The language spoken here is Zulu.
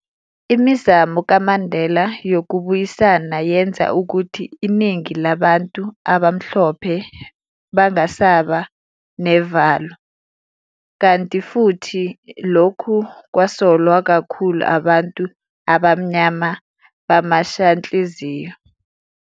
Imizamo kaMandela yokubuyisana yenza ukuthi iningi labantu abamhlophe bangasabi navalo, kanti futhi lokhu kwasolwa kakhulu abantu abamnyama bamashanhliziyo.